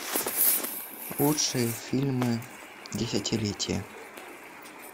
лучшие фильмы десятилетия